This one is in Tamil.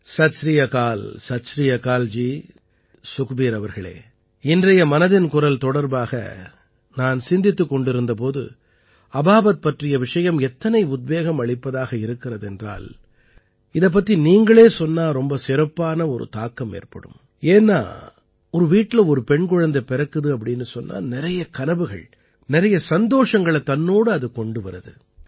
சத் ஸ்ரீ அகால் சத் ஸ்ரீ அகால் ஜி சுக்பீர் அவர்களே இன்றைய மனதின் குரல் தொடர்பாக நான் சிந்தித்துக் கொண்டிருந்த போது அபாபத் பற்றிய விஷயம் எத்தனை உத்வேகம் அளிப்பதாக இருக்கிறது என்றால் இதைப் பற்றி நீங்களே கூறினால் மிகவும் சிறப்பான ஒரு தாக்கம் ஏற்படும் ஏனென்றால் ஒரு வீட்டில் ஒரு பெண் குழந்தை பிறக்கிறது என்றால் நிறைய கனவுகள் நிறைய சந்தோஷங்களைத் தன்னோடு அது கொண்டு வருகிறது